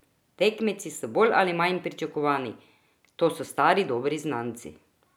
Tekmeci so bolj ali manj pričakovani: "To so stari dobri znanci.